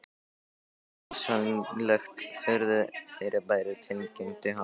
Þetta er óskiljanlegt furðufyrirbæri tilkynnti hann.